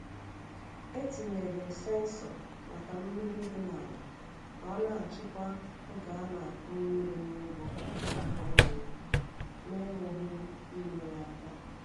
E tinyere m sensọ maka mmiri dị n’ala ka ọ na-achịkwa oge a na-akụ mmiri n’ugbo akwụkwọ nri m n’enweghị m ime ya aka.